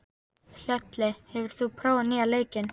Hlölli, hefur þú prófað nýja leikinn?